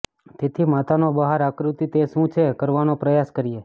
તેથી માતાનો બહાર આકૃતિ તે શું છે કરવાનો પ્રયાસ કરીએ